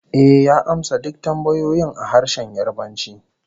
Ehh, ya amsa duk tambayoyin a harshen Yarbanci